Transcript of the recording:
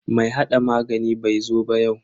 Mai hada magani bai zo ba yau.